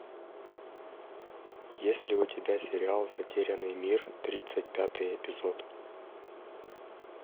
есть ли у тебя сериал затерянный мир тридцать пятый эпизод